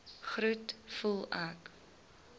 groet voel ek